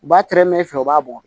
U b'a tɛrɛmɛ i fɛ u b'a bugɔ